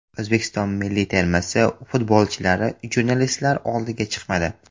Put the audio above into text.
O‘zbekiston milliy termasi futbolchilari jurnalistlar oldiga chiqmadi.